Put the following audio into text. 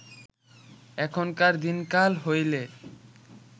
এখনকার দিনকাল হইলে